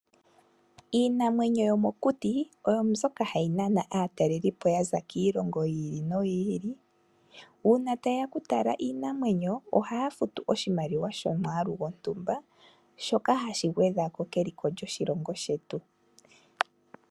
Iinamwenyo yomokuti oyo mbyoka ha yinana aatalelipo yaza kiilongo yi ili no yi ili. Uuna ta yeya oku tala iinamwenyo, oha ya futu omwaalu gwontumba, shoka hashi gwedhako keliko lyoshilongo shetu.